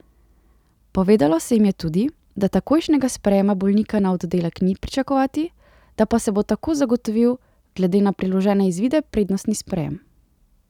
Povedalo se jim je tudi, da takojšnjega sprejema bolnika na oddelek ni pričakovati, da pa se bo tako zagotovil glede na priložene izvide prednostni sprejem.